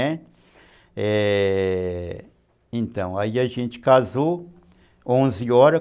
Né, é... Então, aí a gente casou, onze horas.